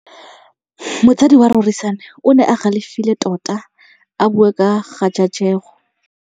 Motsadi wa Rorisang o ne a galefile tota a bua ka kgajajegô.